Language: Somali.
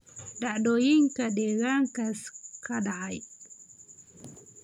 dhacdooyinka deegaankaas ka dhacaya